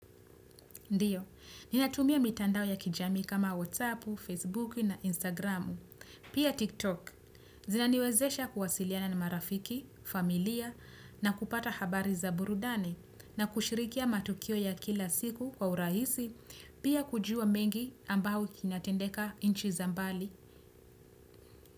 Ndiyo, ninatumia mitandao ya kijamii kama WhatsApp, Facebook na Instagram, pia TikTok. Zinaniwezesha kuwasiliana ni marafiki, familia na kupata habari za burudani na kushirikia matukio ya kila siku kwa urahisi, pia kujua mengi ambayo inatendeka nchi za mbali.